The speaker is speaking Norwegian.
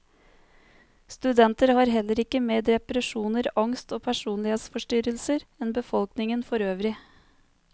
Studenter har heller ikke mer depresjoner, angst og personlighetsforstyrrelser enn befolkningen forøvrig.